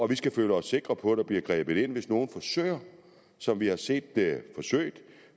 vi skal føle os sikre på at der bliver grebet ind hvis nogen som vi har set det